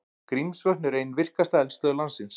Grímsvötn eru ein virkasta eldstöð landsins.